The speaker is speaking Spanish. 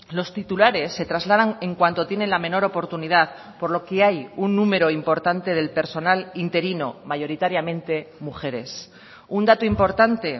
los titulares se trasladan en cuanto tienen la menor oportunidad por lo que hay un número importante del personal interino mayoritariamente mujeres un dato importante